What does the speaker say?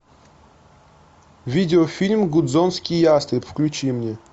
видеофильм гудзонский ястреб включи мне